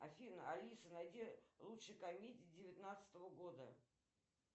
афина алиса найди лучшие комедии девятнадцатого года